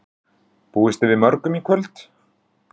Linda: Búist þið við mörgum í kvöld?